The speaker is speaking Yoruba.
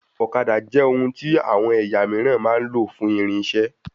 Ọ̀kadà jẹ ohun tí àwọn ẹ̀yà míìràn máa ń lò fún irinṣẹ